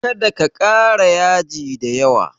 Kada ka ƙara yaji da yawa!